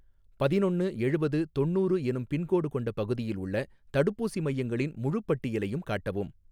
பதினொன்னு எழுவது தொண்ணூறு எனும் பின்கோடு கொண்ட பகுதியில் உள்ள தடுப்பூசி மையங்களின் முழுப் பட்டியலையும் காட்டவும்